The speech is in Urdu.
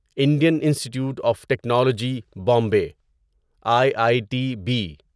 Indian Institute of Technology Bombay I I T be